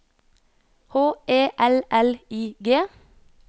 H E L L I G